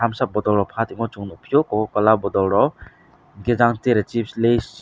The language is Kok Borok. bwsa bottle rok phaltongma sung nukphio cocola bottle rok ingkhe jang tereh chips lays.